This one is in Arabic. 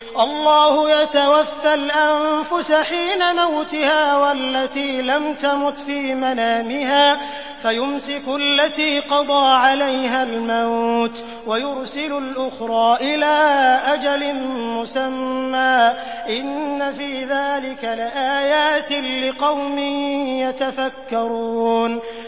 اللَّهُ يَتَوَفَّى الْأَنفُسَ حِينَ مَوْتِهَا وَالَّتِي لَمْ تَمُتْ فِي مَنَامِهَا ۖ فَيُمْسِكُ الَّتِي قَضَىٰ عَلَيْهَا الْمَوْتَ وَيُرْسِلُ الْأُخْرَىٰ إِلَىٰ أَجَلٍ مُّسَمًّى ۚ إِنَّ فِي ذَٰلِكَ لَآيَاتٍ لِّقَوْمٍ يَتَفَكَّرُونَ